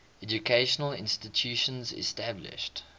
educational institutions established